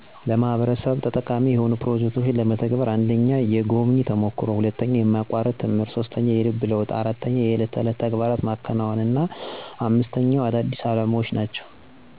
**አዎ፣ አንድ ተሞክሮ አሳድሯል!** 1. **የጎብኚ ተሞክሮ** - በርቀት አገር የተጋለጥኩት ድህነት ዓለምን በአዲስ ሁኔታ አሳየኝ። 2. **የማያቋርጥ ትምህርት** - ትንሽ ነገሮችን መገምገም ጀመርኩ (ለምሳሌ፣ ንፁህ ውሃ እና የትምህርት እድል)። 3. **የልብ ለውጥ** - ለሌሎች ተጨማሪ ትርጉም ያለው እርዳታ መስጠት ጀመርኩ። 4. **የዕለት ተዕለት ተግባር** - አነስተኛ ነገሮችን እየተከተልኩ (እንደ እቃ መቆጠብ እና እርዳታ መስጠት)። 5. **አዳዲስ አላማዎች** - ለማህበረሰብ ተጠቃሚ የሆኑ ፕሮጀክቶችን ለመተግበር አቅድ አደረግኩ። > _"ሕይወት ትንሽ ነገሮችን ማየት እንጂ ሁሉን መቀየር አይደለም!"_